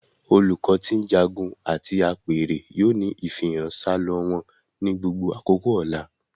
Olùkọ ti njágún àti apẹ̀rẹ̀ yoo ni ifihàn salọ wọn ni gbogbo àkókò ni ọ̀là.